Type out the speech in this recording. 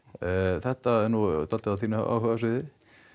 þetta er nú dálítið á þínu áhugasviði